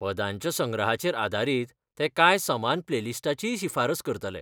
पदांच्या संग्रहाचेर आदारीत, ते कांय समान प्लेलिस्टाचीय शिफारस करतलें.